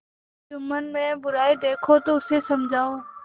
जुम्मन में बुराई देखो तो उसे समझाओ